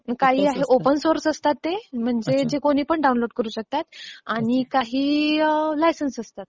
काही जे open source असतात ते कुणीही डाउनलोड करू शकतात. आणि काही लायसन्सड असतात.